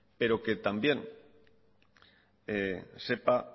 pero que también sepa